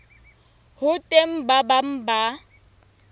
ho teng ba bang ba